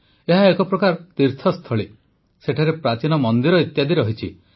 ଏହା ଏକ ପ୍ରକାର ତୀର୍ଥସ୍ଥଳୀ ସେଠାରେ ପ୍ରାଚୀନ ମନ୍ଦିର ଇତ୍ୟାଦି ଅଛି